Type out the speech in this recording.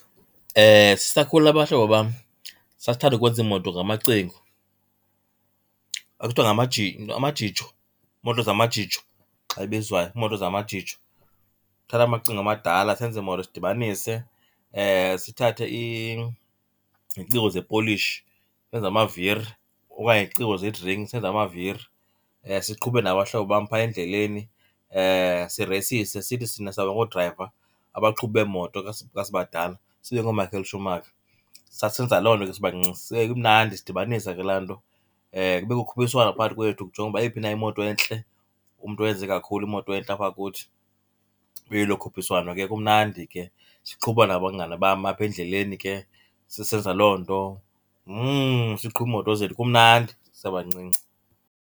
Sisakhula nabahlobo bam sasithanda ukwenza iimoto ngamacingo. Kwakusithiwa amajijo, iimoto zamajijo xa ebizwayo, iimoto zamajijo. Thatha amacingo amadala senze iimoto sidibanise, sithathe iziciko ze-polish senze amaviri okanye iziciko ze-drink senze amaviri. Siqhube nabahlobo bam phaa endleleni sireyisise sithi thina sawuba ngoodrayiva, abaqhubi beemoto xa sibadala, sibe ngooMichael Schumacher. Sasisenza loo nto ke sibancinci, kumnandi sidibanisa ke laa nto. Kubekho ukhuphiswano phakathi kwethu kujongwe uba yeyiphi na imoto entle. Umntu owenze kakhulu imoto entle apha kuthi, ibe lelo khuphiswano ke kumnandi ke. Siqhuba nabangani bam apha endleleni ke sisenza loo nto. Siqhuba imoto zethu kumnandi sisebancinci.